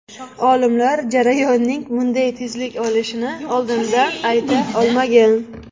Olimlar jarayonning bunday tezlik olishini oldindan ayta olmagan.